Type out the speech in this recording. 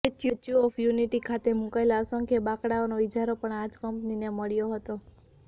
statue of unity ખાતે મુકાયેલા અસંખ્ય બાંકડાઓનો ઈજારો પણ આ જ કંપનીને મળ્યો હતો